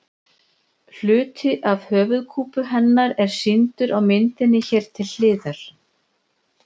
Hluti af höfuðkúpu hennar er sýndur á myndinni hér til hliðar.